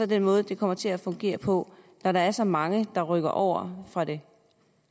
den måde det kommer til at fungere på når der er så mange der rykker over fra det